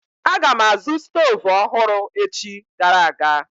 Aga m azụ stoovu ọhụrụ echi gara aga.